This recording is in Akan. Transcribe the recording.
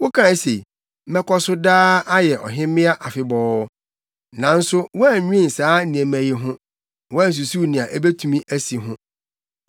Wokae se, ‘Mɛkɔ so daa, ayɛ ɔhemmea afebɔɔ.’ Nanso woannwen saa nneɛma yi ho na woansusuw nea ebetumi asi ho.